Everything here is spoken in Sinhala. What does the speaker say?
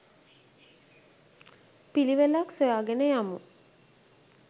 පිළිවෙලක් සොයා ගෙන යමු.